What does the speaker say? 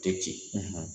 Tɛ ci